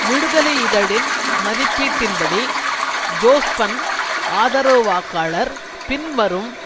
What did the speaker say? விடுதலை இதழின் மதிப்பீட்டின் படி ஜோஸ்பன் ஆதரவு வாக்காளர் பின்வரும்